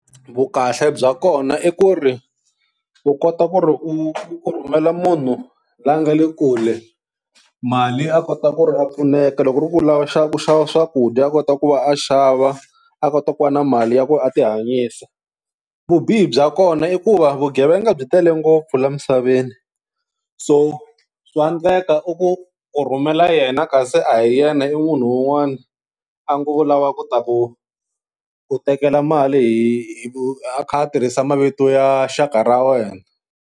Vukahle bya kona i ku ri u kota ku ri u rhumela munhu la nga le kule mali a kota ku ri a pfuneka, loko ku ri ku u lava ku xava ku xava swakudya a kota ku va a xava a kota ku va na mali ya ku a tihanyisa. Vubihi bya kona i ku va vugevenga byi tele ngopfu la misaveni so swa endleka u ku u rhumela yena kasi a hi yena i munhu un'wana a ngo u lava ku ta ku ku tekela mali hi a kha a tirhisa mavito ya xaka ra wena.